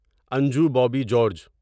Anju Bobby George